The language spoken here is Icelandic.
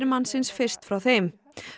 mannsins fyrst frá þeim